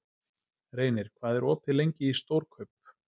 Reynir, hvað er opið lengi í Stórkaup?